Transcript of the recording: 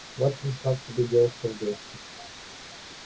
вот пришла к тебе девушка в гости